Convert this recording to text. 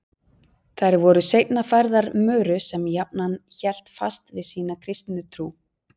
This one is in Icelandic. Þær voru seinna færðar Möru sem jafnan hélt fast við sína kristnu trú.